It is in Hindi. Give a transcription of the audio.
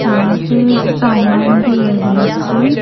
यहां पे सामान भी है बहुत से--